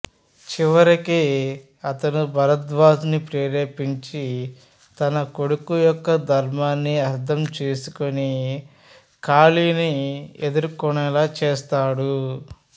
చివరికి అతను భరద్వాజను ప్రేరేపించి తన కొడుకు యొక్క ధర్మాన్ని అర్థం చేసుకునే కాళీని ఎదుర్కునేలా చేస్తాడు